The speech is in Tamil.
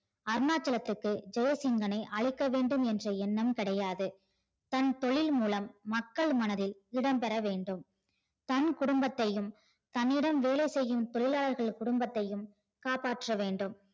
அருணாச்சலத்துக்கு ஜெசிங்கனை அழிக்க வேண்டும் எண்ணம் கிடையாது தன் தொழில் மூலம் மக்கள் மனதில் இடம் பெற வேண்டும் தன் குடும்பத்தையும் தன்னிடம் வேலை செய்யும் தொழிலாளர்கள் குடும்பத்தையும் காப்பாற்றவேண்டும்